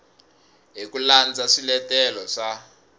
hi ku landza swiletelo swa